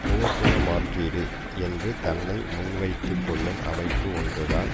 போர்க்குண மாற்றீடு என்று தன்னை முன்வைத்துக் கொள்ளும் அமைப்பு ஒன்று தான்